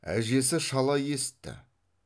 әжесі шала есітті